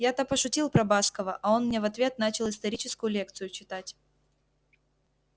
я-то пошутил про баскова а он мне в ответ начал историческую лекцию читать